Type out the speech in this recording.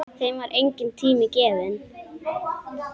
Þeim var enginn tími gefinn.